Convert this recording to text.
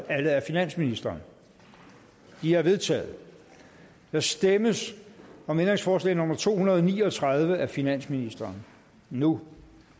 af finansministeren de er vedtaget der stemmes om ændringsforslag nummer to hundrede og ni og tredive af finansministeren nu